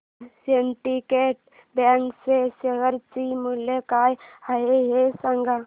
आज syndicate bank च्या share चे मूल्य काय आहे हे सांगा